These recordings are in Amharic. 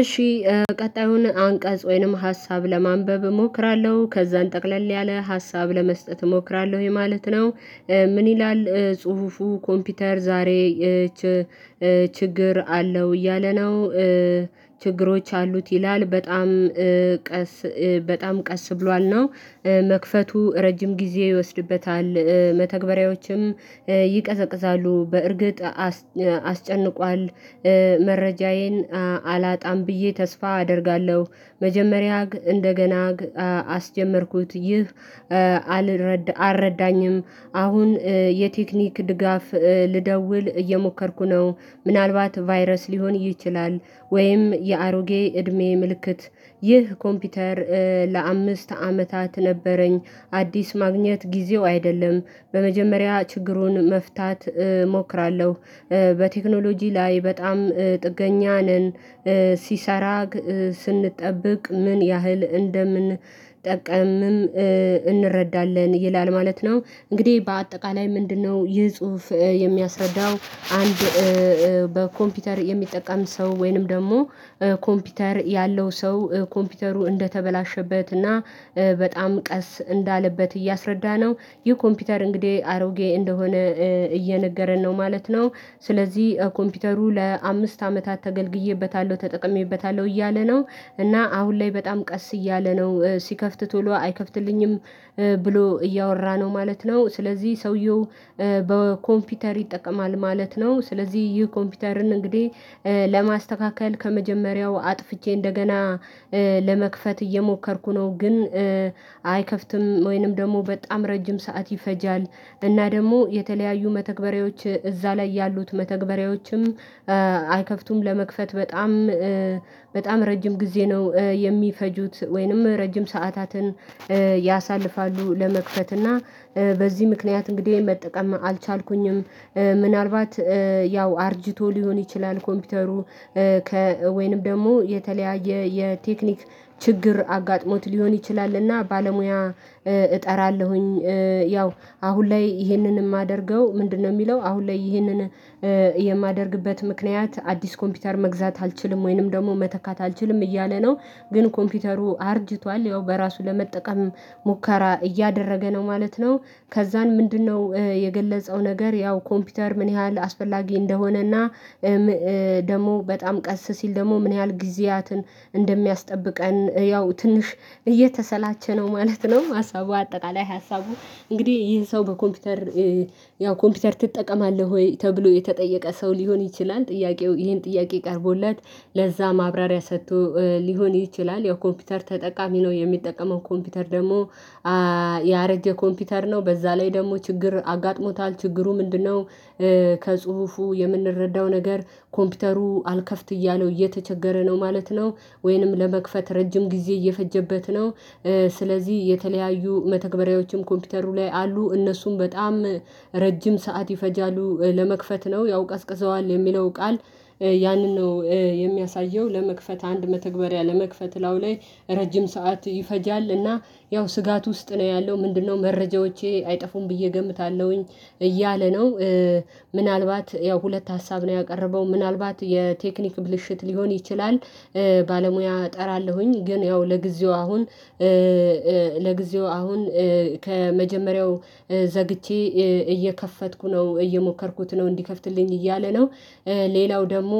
እሺ ቀጣዩን አንቀጽ ወይንም ሀሳብ ለማንበብ እሞክራለሁ ከዛን ጠቅለል ያለ ሀሳብ ለመስጠት እሞክራለሁ የማለት ነው። ምን ይላል ጽሁፉ? ኮምፒውተር ዛሬ ችግር አለው እያለ ነው። ችግሮች አሉት ይላል በጣም ቀስ በጣም ቀስ ብሏል ነው መክፈቱ ረጅም ጊዜ ይወስድበታል። መተግበሪያዎችም ይቀዘቅዛሉ በእርግጥ አስጨንቋል መረጃዬን አላጣም ብዬ ተስፋ አደርጋለሁ። መጀመሪያ እንደገና አስጀመርኩት ይህ አልረዳኝም አሁን የቴክኒክ ድጋፍ ልደውል እየሞከርኩ ነው። ምናልባት ቫይረስ ሊሆን ይችላል። ወይም የአሮጌ እድሜ ምልክት ይህ ኮምፒውተር ለአምስት አመታት ነበረኝ። አዲስ ማግኘት ጊዜው አይደለም። በመጀመሪያ ችግሩን መፍታት እሞክራለሁ። በቴክኖሎጂ ላይ በጣም ጥገኛ ነን። ሲሰራ ስንጠብቅ ምን ያህል እንደምንጠቀምም እንረዳለን ይላል ማለት ነው። እንግዲህ በአጠቃላይ ምንድነው ይህ ጽሁፍ የሚያስረዳው? አንድ በኮምፒውተር የሚጠቀም ሰው ወይንም ደግሞ ኮምፒውተር ያለው ሰው ኮምፒውተሩ እንደተበላሸበት እና በጣም ቀስ እንዳለበት እያሰረዳነው ይህ ኮምፒውተር እንግዲህ አሮጌ እንደሆነ እየነገረን ነው ማለት ነው። ስለዚህ ኮምፒውተሩ ለአምስት አመታት ተገልግዬበታለሁ ተጠቅሜበታለሁ እያለ ነው። እና አሁን ላይ በጣም ቀስ እያለ ነው ሲከፍት ቶሎ አይከፍትልኝም ብሎ እያወራ ነው ማለት ነው። ስለዚህ ሰውየው በኮምፒውተር ይጠቀማል ማለት ነው። ስለዚህ ይህ ኮምፒውተርን እንግዲህ ለማስተካከል ከመጀመሪያው አጥፍቼ እንደገና ለመክፈት እየሞከርኩ ነው። ግን አይከፍትም ወይንም ደግሞ በጣም ረጅም ሰዓት ይፈጃል። እና ደግሞ የተለያዩ መተግበሪያዎች እዛ ላይ ያሉት መተግበሪያዎችም አይከፍቱም ለመክፈት በጣም በጣም ረጅም ጊዜ ነው የሚፈጁት ወይንም ረጅም ሰዓታትን ያሳልፋሉ ለመክፈት እና በዚህ ምክንያት እንግዲህ መጠቀም አልቻልኩኝም። ምናልባት ያው አርጅቶ ሊሆን ይችላል ኮምፒውተሩ ከ ወይንም ደግሞ የተለያየ የቴክኒክ ችግር አጋጥሞት ሊሆን ይችላልና ባለሙያ እጠራለሁኝ። ያው አሁን ላይ ይሄንን የማደርገው ምንድነው? የሚለው አሁን ላይ ይህንን የማደርግበት ምክንያት አዲስ ኮምፒውተር መግዛት አልችልም ወይንም ደግሞ መተካት አልችልም እያለ ነው። ግን ኮምፒውተሩ አርጅቷል ያው በራሱ ለመጠቀምም ሙከራ እያደረገ ነው ማለት ነው። ከዛን ምንድነው? የገለጸው ነገር ያው ኮምፒውተር ምን ያህል አስፈላጊ እንደሆነና ደግሞ በጣም ቀስ ሲል ደግሞ ምን ያህል ጊዜያትን እንደሚያስጠብቀን ያው ትንሽ እየተሰላቸ ነው ማለት ነው። ሀሳቡ አጠቃላይ ሀሳቡ እንግዲህ ይህን ሰው በኮምፒውተር ያው ኮምፒውተር ትጠቀማለህ ወይ ተብሎ የተጠየቀ ሰው ሊሆን ይችላል ጥያቄው? ይሄን ጥያቄ ቀርቦለት ለዛ ማብራሪያ ሰጥቶ ሊሆን ይችላል ያው ኮምፒውተር ተጠቃሚ ነው። የሚጠቀመው ኮምፒውተር ደግሞ ያረጀ ኮምፒውተር ነው በዛ ላይ ደግሞ ችግር አጋጥሞታል ችግሩ ምንድነው? ከጽሁፉ የምንረዳው ነገር ኮምፒውተሩ አልከፍት እያለው እየተቸገረ ነው ማለት ነው። ወይንም ለመክፈት ረጅም ጊዜ እየፈጀበት ነው። ስለዚህ የተለያዩ መተግበሪያዎችም ኮምፒውተሩ ላይ አሉ እነሱም በጣም ረጅም ሰዓት ይፈጃሉ ለመክፈት ነው ያው ቀዝቅዟዋል የሚለው ቃል ያንን ነው የሚያሳየው ለመክፈት አንድ መተግበሪያ ለመክፈት ላው ላይ ረጅም ሰዓት ይፈጃል። እና ያው ስጋት ውስጥ ነው ያለው ምንድነው መረጃዎቼ አይጠፉም ብዬ እገምታለሁኝ እያለ ነው። ምናልባት ያው ሁለት ሀሳብ ነው ያቀረበው ምናልባት የቴክኒክ ብልሽት ሊሆን ይችላል። ባለሙያ እጠራለሁኝ ግን ያው ለጊዜው አሁን ለጊዜው አሁን ከመጀመሪያው ዘግቼ እየከፈትኩ ነው እየሞከርኩት ነው እንዲከፍትልኝ እያለ ነው። ሌላው ደግሞ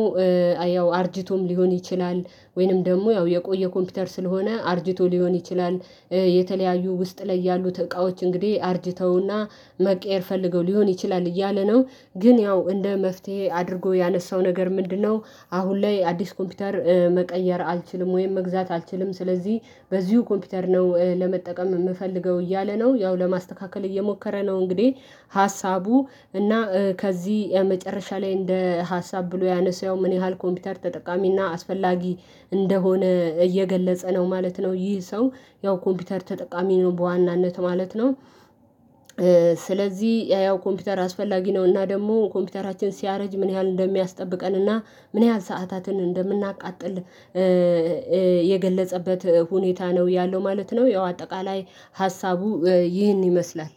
ያው አርጅቶም ሊሆን ይችላል ወይንም ደግሞ ያው የቆየ ኮምፒውተር ስለሆነ አርጅቶ ሊሆን ይችላል። የተለያዩ ውስጥ ላይ ያሉት እቃዎች እንግዲህ አርጅተውና መቀየር ፈልገው ሊሆን ይችላል እያለ ነው ግን ያው እንደ መፍትሄ አድርጎ ያነሳው ነገር ምንድነው? አሁን ላይ አዲስ ኮምፒውተር መቀየር አልችልም ወይም መግዛት አልችልም ስለዚህ በዚሁ ኮምፒውተር ነው ለመጠቀም የምፈልገው እያለ ነው። ያው ለማስተካከል እየሞከረ ነው እንግዲህ ሀሳቡ እና ከዚህ የመጨረሻ ላይ እንደ ሀሳብ ብሎ ያነሳው ምን ያህል ኮምፒውተር ተጠቃሚ እና አስፈላጊ እንደሆነ እየገለጸ ነው ማለት ነው። ይህ ሰው ያው ኮምፒውተር ተጠቃሚ ነው በዋናነት ማለት ነው። ስለዚህ ያው ኮምፒውተር አስፈላጊ ነው እና ደግሞ ኮምፒውተራችን ሲያረጅ ምን ያህል እንደሚያስጠብቀን እና ምን ያህል ሰዓታትን እንደምናቃጥል የገለጸበት ሁኔታ ነው ያለው ማለት ነው። ያው አጠቃላይ ሀሳቡ ይህን ይመስላል።